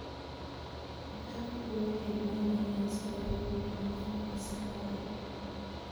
Dadku waxay baranayaan sida loo buuxiyo foomka saxda ah.